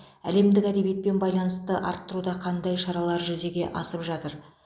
әлемдік әдебиетпен байланысты арттыруда қандай шаралар жүзеге асып жатыр